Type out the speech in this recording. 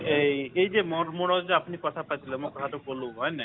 এই এই যে যে আপুনি কথা পাতিলে মই কথাটো কলো হয় নে নাই